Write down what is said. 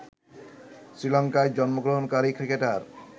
শ্রীলঙ্কায় জন্মগ্রহণকারী ক্রিকেটার